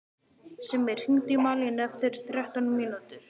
Simmi, hringdu í Malínu eftir þrettán mínútur.